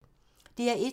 DR1